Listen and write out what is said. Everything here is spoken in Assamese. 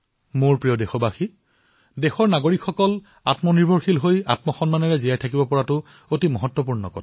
মোৰ মৰমৰ দেশবাসীসকল দেশৰ নাগৰিকসকল আত্মনিৰ্ভৰশীল হৈ সন্মানৰ সৈতে জীৱনযাপন কৰাটো আমাৰ বাবে অতিশয় গুৰুত্বপূৰ্ণ